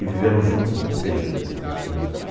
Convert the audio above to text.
E viveram juntos vinte e seis anos, praticamente.